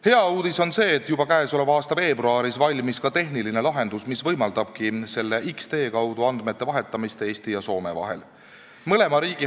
Hea uudis on see, et juba käesoleva aasta veebruaris valmis tehniline lahendus, mis võimaldab X-tee kaudu andmete vahetamist Eesti ja Soome vahel.